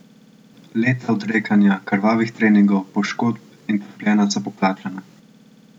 Leta odrekanja, krvavih treningov, poškodb in trpljenja so poplačana.